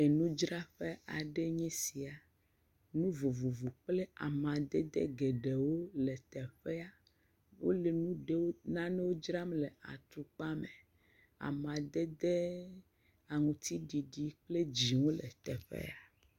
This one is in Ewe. Enudzraƒe aɖe enye sia. Nu vovovowo kple amadede geɖewo le teƒea. Wole nu ɖem, nanewo dzram le atukpa me. Amadede aŋutiɖiɖi kple dzɛ̃wole teƒea.